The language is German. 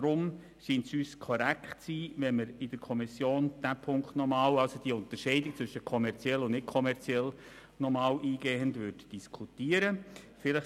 Aus diesem Grund schiene es uns richtig, wenn man in der Kommission noch einmal eingehend über die Unterscheidung zwischen kommerziell und nicht-kommerziell diskutieren könnte.